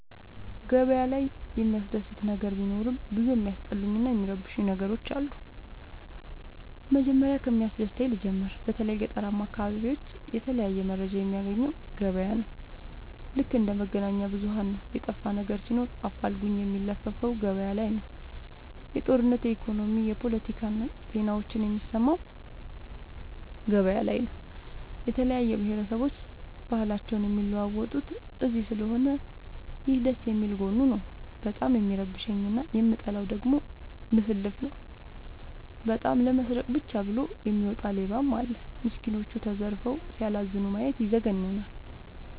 ገበያ ላይ የሚያስደስ ነገር ቢኖርም ብዙ የሚያስጠሉኝ እና የሚረብሸኝ ነገሮች አሉ። መጀመሪያ ከሚያስደስተኝ ልጀምር በተለይ ገጠራማ አካቢዎች የተለያየ መረጃ የሚያገኘው ገበያ ነው። ልክ እንደ መገናኛብዙኋን ነው የጠፋነገር ሲኖር አፋልጉኝ የሚለፍፈው ገበያላይ ነው። የጦርነት የኢኮኖሚ የፓለቲካ ዜናዎችን የሚሰማው ገበያ ላይ ነው። የተለያየ ብሆረሰቦች ባህልአቸውን የሚለዋወጡት እዚስለሆነ ይህ ደስየሚል ጎኑ ነው። በጣም የሚረብሸኝ እና የምጠላው ደግሞ ልፍልፍ ነው። በጣም ለመስረቃ ብቻ ብሎ የሚወጣ ሌባም አለ። ሚስኩኖች ተዘርፈው ሲያላዝኑ ማየት ይዘገንናል።